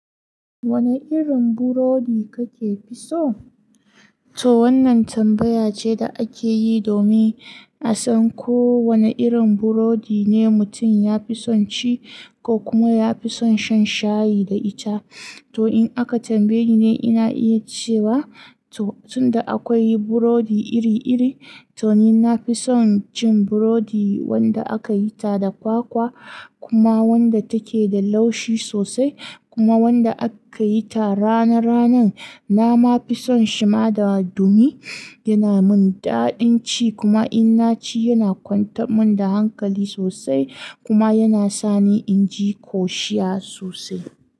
Wane irin burodi kake fi so? To wannan tambaya ce da ake yi domin a san ko wane irin burodi ne mutum ya fi son ci ko kuma ya fi son shan shayi da ita. To in aka tambaye ni, ina iya cewa to tun da akwai burodi iri-iri, to ni na fi son cin burodi wanda aka yi ta da kwakwa kuma wanda take da laushi sosai kuma wanda aka yi ta rana-ranan. Na ma fi son shima da ɗumi, yana min daɗin ci kuma in na ci, yana kwantar mun da hankali sosai kuma yana sa ni in ji ƙoshiya sosai.